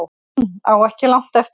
Á ekki langt eftir